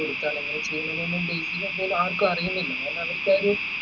കൊടുത്താൽ എങ്ങനെ ചെയുന്നുണ്ട്ന്ന് ആർക്കും അറിയുന്നില്ല കാരണം അവരിക്ക ആ ഒരു